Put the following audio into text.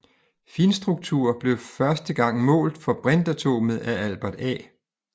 Finstruktur blev første gang målt for brintatomet af Albert A